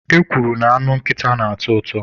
E kwuru na anụ nkịta na-atọ ụtọ.